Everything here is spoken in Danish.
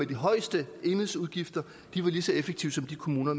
de højeste enhedsudgifter var lige så effektive som de kommuner